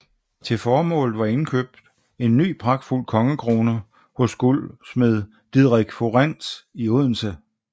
Til formålet var indkøbt en ny pragtfuld kongekrone hos guldsmed Didrik Fuirens i Odense